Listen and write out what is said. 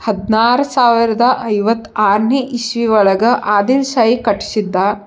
ಹದಿನಾರ್ ಸಾವಿರದ ಐವತ್ ಆರ್ನೇ ಇಶ್ವಿಯೊಳಗ ಆದಿಲ್ ಶಾಯಿ ಕಟ್ಶಿದ್ದ.